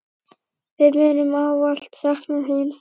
Við munum ávallt sakna þín.